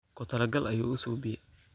Kutalaqal ayu uusubiye.